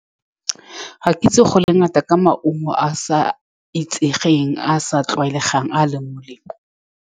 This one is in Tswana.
Ka kitso go le ngata ka maungo a sa itsegeng, a a sa tlwaelegang a a leng molemo.